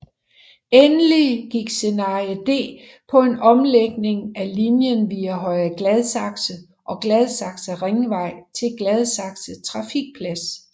Endelig gik scenarie D på en omlægning af linjen via Høje Gladsaxe og Gladsaxe Ringvej til Gladsaxe Trafikplads